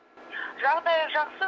жағдайы жақсы